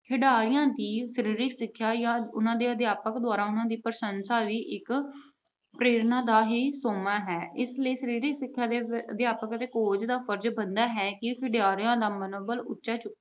ਖਿਡਾਰੀਆਂ ਦੀ ਸਰੀਰਕ ਸਿੱਖਿਆ ਜਾਂ ਉਹਨਾਂ ਦੇ ਅਧਿਆਪਕਾਂ ਦੁਆਰਾ ਉਹਨਾਂ ਦੀ ਪ੍ਰਸ਼ੰਸਾ ਵੀ ਇਕ ਪ੍ਰੇਰਨਾ ਦਾ ਹੀ ਸੋਮਾ ਹੈ। ਇਸ ਸਰੀਰਕ ਸਿੱਖਿਆ ਦੇ ਅਧਿਆਪਕਾਂ ਅਤੇ coach ਦਾ ਫਰਜ ਬਣਦਾ ਹੈ ਕਿ ਖਿਡਾਰੀਆਂ ਦਾ ਮਨੋਬਲ ਉੱਚਾ